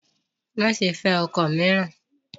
Má ṣe fẹ́ ọkọ mìíràn!